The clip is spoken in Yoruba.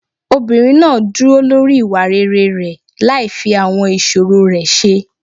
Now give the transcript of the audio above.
Obìnrin náà dúró lórí ìwà rere rẹ̀ láì fi àwọn ìṣòro rẹ̀ ṣe.